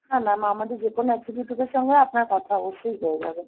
হ্যাঁ mam আমাদের যে কোনো executive এর সঙ্গে আপনার কথা অবশ্যই হয়ে যাবে।